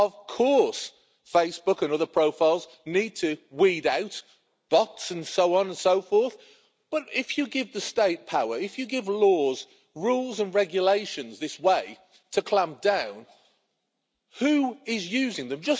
Of course, Facebook and other profiles need to weed out bots and so on and so forth, but if you give the State power, if you give laws, rules and regulations this way to clamp down, who is using them?